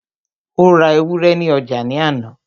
ó ra ewúrẹ́ ní ọjà ní àná